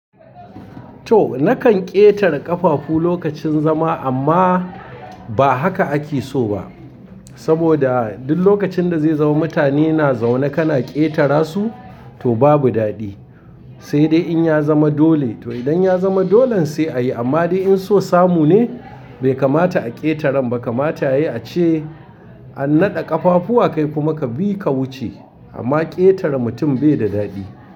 To nakan ƙetare ƙafafu lokacin zama amma ba haka ake so ba. Saboda duk lokacin da zai zama mutane na zaune kana ƙetara su to babu daɗi. Sai dai in ya zama dole, to idan ya zama dolan sai a yi amma dai in so samu ne bai kamata a ƙetaren ba kamata yayi ace a naɗa ƙafafu a kaifi maka bi ka wuce amma ƙetare mutum bai da daɗi.